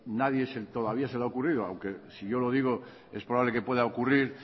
nadie todavía se le ha ocurrido aunque si yo lo digo es probable que pueda ocurrir